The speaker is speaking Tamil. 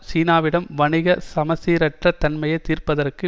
சீனாவிடம் வணிக சமசீரற்ற தன்மையை தீர்ப்பதற்கு